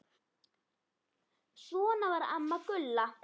Svona var amma Gulla.